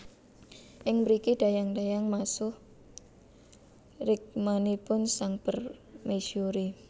Ing mriki dayang dayang masuh rikmanipun sang permaisuri